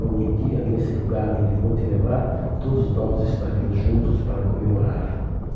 Algum dia, nesse lugar onde vou te levar, todos nós estaremos juntos para comemorar.